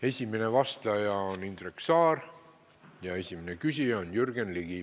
Esimene vastaja on Indrek Saar ja esimene küsija on Jürgen Ligi.